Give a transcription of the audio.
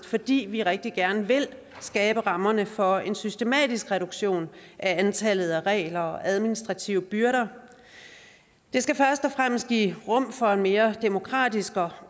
fordi vi rigtig gerne vil skabe rammerne for en systematisk reduktion af antallet af regler og administrative byrder det skal først og fremmest give rum for en mere demokratisk